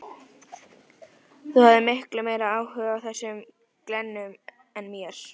Þú hafðir miklu meiri áhuga á þessum glennum en mér.